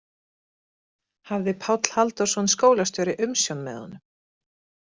Hafði Páll Halldórsson skólastjóri umsjón með honum.